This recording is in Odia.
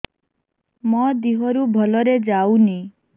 ମୋ ଦିହରୁ ଭଲରେ ଯାଉନି